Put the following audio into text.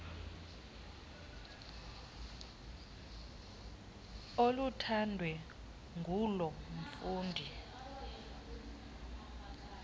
oluthandwe nguloo mfundi